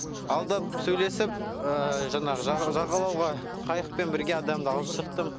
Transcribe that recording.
алдап сөйлесіп жаңағы жағалауға қайықпен бірге адамды алып шықтым